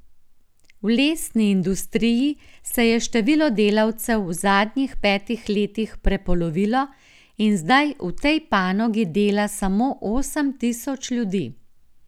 V lesni industriji se je število delavcev v zadnjih petih letih prepolovilo in zdaj v tej panogi dela samo osem tisoč ljudi.